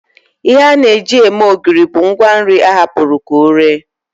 Ihe a na-eji eme ogiri bụ ngwanri a hapụrụ ka ọ ree